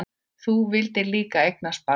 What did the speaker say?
Þú vildir líka eignast barn.